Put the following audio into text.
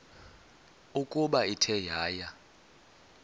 ukuba ithe yaya